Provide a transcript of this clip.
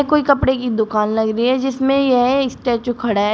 कोई कपड़े की दुकान लग रही है जिसमें यह स्टैचू खड़ा है।